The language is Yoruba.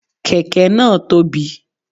Kèké náà tóbi